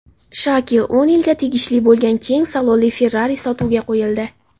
Shakil O‘nilga tegishli bo‘lgan keng salonli Ferrari sotuvga qo‘yildi .